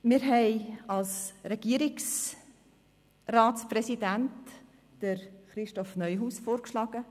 Wir haben als Regierungsratspräsidenten Christoph Neuhaus vorgeschlagen.